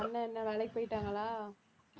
அண்ணன் என்ன வேலைக்கு போயிட்டாங்களா